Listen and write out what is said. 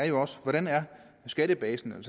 jo også hvordan skattebasen er